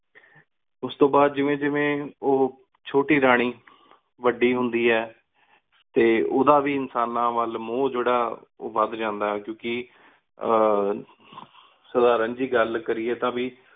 ਉਸ ਤੂੰ ਬਾਦ ਜਿਵੇ ਜਿਵੇ ਓਹ ਛੋਟੀ ਰਾਨੀ ਵੱਡੀ ਹੁੰਦੀ ਹੈ, ਤੇ ਉਂਦਾ ਵੀ ਇਨਸਾਨਾ ਵੱਲ ਮੋਹ ਜੇਦਾ ਉ ਵਦ ਜਾਂਦਾ ਹੈ। ਕਿਉਕਿ ਅਹ ਸਾਧਾਰਣ ਜੀ ਗਲ ਕਰੀਏ ਤਾਂਵੀ